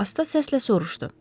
Asta səslə soruşdu.